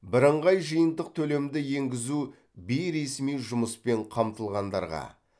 бірыңғай жиынтық төлемді енгізу бейресми жұмыспен қамтылғандарға